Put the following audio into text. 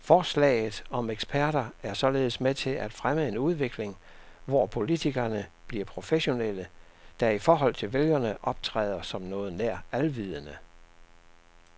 Forslaget om eksperter er således med til at fremme en udvikling, hvor politikerne bliver professionelle, der i forhold til vælgerne optræder som noget nær alvidende.